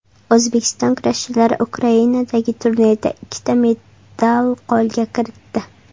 O‘zbekiston kurashchilari Ukrainadagi turnirda ikkita medal qo‘lga kiritdi.